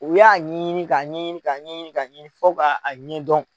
O y'a ɲɛɲini ka ɲɛɲini ka ɲɛɲini ka ɲɛɲini ka ɲɛɲini fo ka A ɲɛ dɔn.